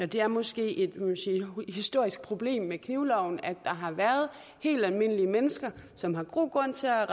det er måske et historisk problem med knivloven at der har været helt almindelige mennesker som har god grund til at